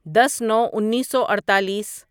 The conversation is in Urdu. دس نو انیسو اڑتالیس